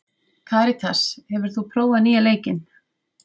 Karitas, hefur þú prófað nýja leikinn?